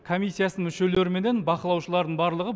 комиссиясының мүшелері менен бақылаушылардың барлығы